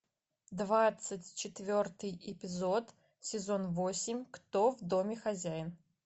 двадцать четвертый эпизод сезон восемь кто в доме хозяин